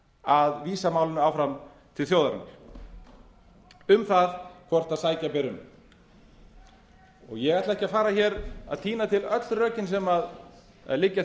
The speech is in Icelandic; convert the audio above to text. að vísa málinu áfram til þjóðarinnar um það hvort sækja beri um ég ætla ekki að fara að tína til öll rökin sem liggja